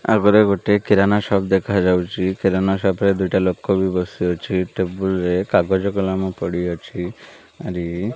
ଆଗରେ ଗୋଟେ କିରାନା ସପ ଦେଖାଯାଉଚି। କିରାନା ସପ ରେ ଦୁଇଟା ଲୋକ ବି ବସିଅଛି। ଟେବୁଲ ରେ କାଗଜ କଲମ ପଡ଼ିଅଛି। ଆରି --